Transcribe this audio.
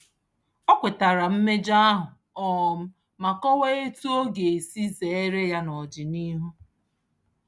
O kwetara mmejọ ahụ um ma kọwaa etu ọ ga-esi zeere ya n'ọdịnihu.